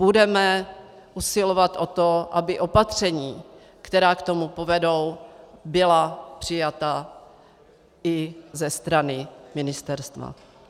Budeme usilovat o to, aby opatření, která k tomu povedou, byla přijata i ze strany ministerstva.